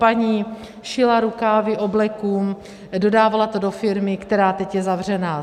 Paní šila rukávy obleků, dodávala to do firmy, která teď je zavřená.